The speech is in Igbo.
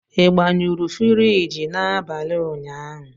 Ị gbanyụrụ friji n'abalị ụnyaahụ?